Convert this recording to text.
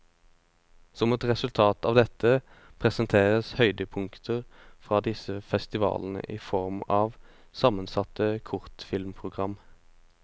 Som et resultat av dette, presenteres høydepunkter fra disse festivalene i form av sammensatte kortfilmprogram.